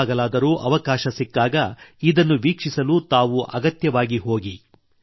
ಯಾವಾಗಲಾದರೂ ಅವಕಾಶ ಸಿಕ್ಕಾಗ ಇದನ್ನು ವೀಕ್ಷಿಸಲು ತಾವು ಅಗತ್ಯವಾಗಿ ಹೋಗಿ